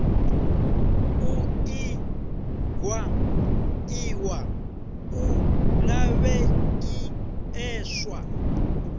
u iingwa iwa u lavheieswa